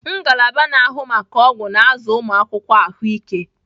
Ngalaba na-ahụ maka ọgwụ na-azụ ụmụ akwụkwọ ahụike.